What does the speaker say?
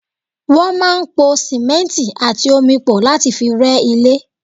Wọ́n máa ń pò simẹnti àti omi pọ̀ láti fi rẹ́ ilé.